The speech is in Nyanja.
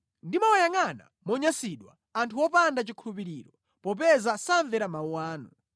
Ndimawayangʼana monyansidwa anthu opanda chikhulupiriro, popeza samvera mawu anu.